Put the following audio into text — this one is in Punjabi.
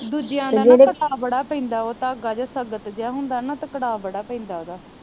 ਦੂਜਿਆਂ ਦਾ ਤੇ ਅਕੜਾ ਬੜਾ ਪੇਂਦਾ ਉਹ ਧਾਗਾ ਜਾ ਸਖਤ ਜਾ ਹੁੰਦਾ ਨਾ ਤਾ ਅਕੜਾ ਬੜਾ ਪੇਂਦਾ ਉਹਦਾ